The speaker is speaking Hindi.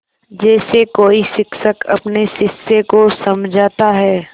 जैसे कोई शिक्षक अपने शिष्य को समझाता है